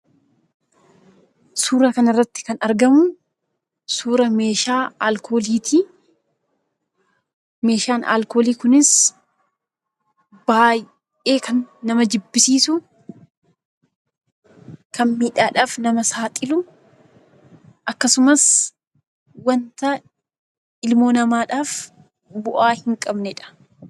Suuraa kanarratti kan argamu suuraa meeshaa alkooliiti. Meeshaan alkoolii kunis baay'ee kan nama jibbisiisu, kan miidhaadhaaf nama saaxilu akkasumas wanta ilmoo namaaf bu'aa hin qabnedha.